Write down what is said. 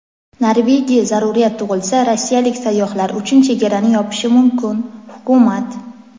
Norvegiya zaruriyat tug‘ilsa rossiyalik sayyohlar uchun chegarani yopishi mumkin – hukumat.